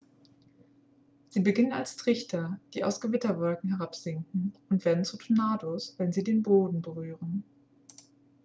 sie beginnen als trichter die aus gewitterwolken herabsinken und werden zu tornados wenn sie den boden berühren